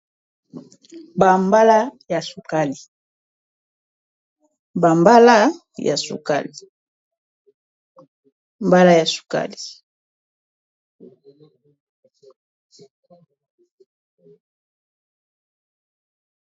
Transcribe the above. Ba Mbala ya sukali, ba mbala ya sukali.